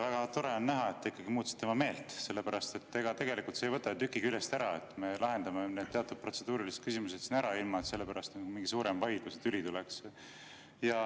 Väga tore on näha, et te ikkagi muutsite oma meelt, sest ega see ei võta ju tükki küljest ära, kui me lahendame need teatud protseduurilised küsimused siin ära, ilma et sellepärast mingi suurem vaidlus või tüli tuleks.